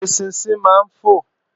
Eṣinṣin náà ń fò